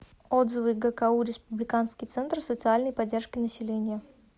отзывы гку республиканский центр социальной поддержки населения